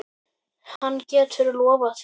Hann getur lofað því.